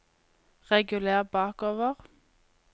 reguler bakover